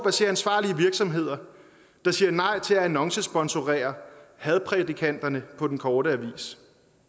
at se ansvarlige virksomheder der siger nej til at annoncesponsorere hadprædikanterne på den korte avis